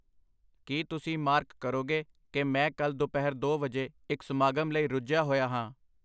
ਕੀ ਤੁਸੀਂ ਮਾਰਕ ਕਰੋਗੇ ਕਿ ਮੈਂ ਕੱਲ੍ਹ ਦੁਪਹਿਰ ਦੋ ਵਜੇ ਇੱਕ ਸਮਾਗਮ ਲਈ ਰੁੱਝਿਆ ਹੋਇਆ ਹਾਂ